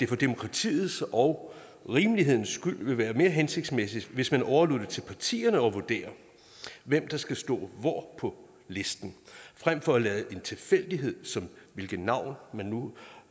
for demokratiets og rimelighedens skyld ville det være mere hensigtsmæssigt hvis man overlod det til partierne at vurdere hvem der skal stå hvor på listen fremfor at lade en tilfældighed som hvilket navn man nu